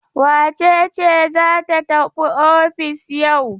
Wace ce za ta tafi ofis yau?